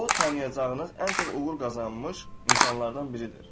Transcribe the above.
O, tanıyacağınız ən çox uğur qazanmış insanlardan biridir.